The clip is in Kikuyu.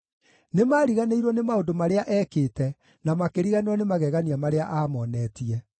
Nĩmariganĩirwo nĩ maũndũ marĩa ekĩte, na makĩriganĩrwo nĩ magegania marĩa aamonetie.